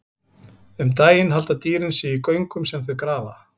Um daginn halda dýrin sig í göngum sem þau grafa.